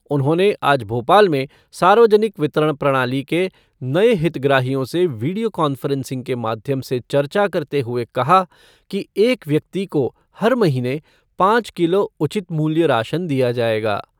उन्होंने आज भोपाल में सार्वजनिक वितरण प्रणाली के नए हितग्राहियों से वीडियो कान्फ़्रेंसिंग के माध्यम से चर्चा करते हुए कहा कि एक व्यक्ति को हर महीने पाँच किलो उचित मूल्य राशन दिया जायेगा।